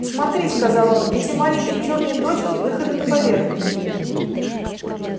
смотри сказал он эти маленькие чёрные точки выходы на поверхность